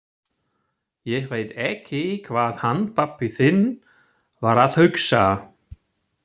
Ég veit ekki hvað hann pabbi þinn var að hugsa!